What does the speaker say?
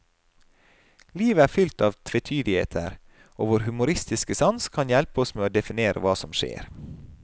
Livet er fylt av tvetydigheter, og vår humoristiske sans kan hjelpe oss med å definere hva som skjer.